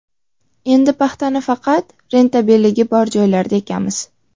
Endi paxtani faqat rentabelligi bor joylarda ekamiz.